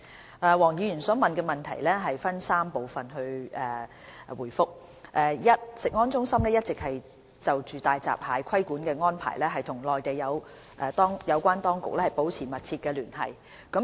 就黃議員提出的質詢，我會分3部分答覆：一食安中心一直就大閘蟹規管的安排與內地有關當局保持密切聯繫。